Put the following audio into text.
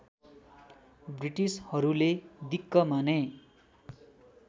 ब्रिटिसहरूले दिक्क माने